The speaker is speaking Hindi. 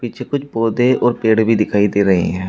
पीछे कुछ पौधे और पेड़ भी दिखाई दे रहे हैं।